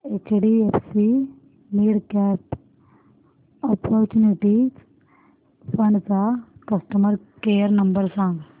HDFC midcap opportunities fund चा customer care number सांग